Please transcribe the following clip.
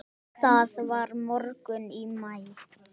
Það var morgunn í maí.